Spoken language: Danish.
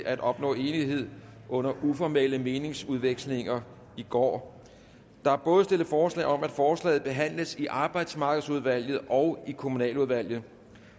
at opnå enighed under uformelle meningsudvekslinger i går der er både stillet forslag om at forslaget behandles i arbejdsmarkedsudvalget og i kommunaludvalget